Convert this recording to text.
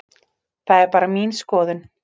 Það er bara mín skoðun.